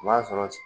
O b'a sɔrɔ